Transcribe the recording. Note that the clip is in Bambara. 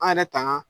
An yɛrɛ tangan